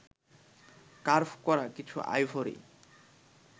curve করা কিছু ivory